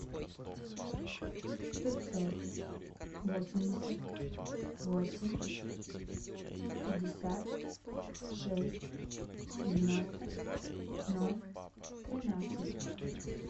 пятьсот восемьдесят восемь пятьдесят шесть девяносто ноль тринадцать